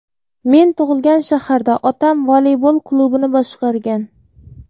Men tug‘ilgan shaharda otam voleybol klubini boshqargan.